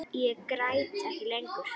Ég græt ekki lengur.